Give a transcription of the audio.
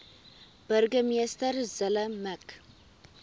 burgemeester zille mik